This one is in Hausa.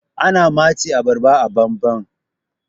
ana matse abarba ababan